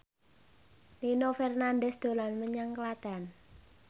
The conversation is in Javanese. Nino Fernandez dolan menyang Klaten